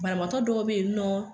Banabatɔ dɔw bɛ yen nɔ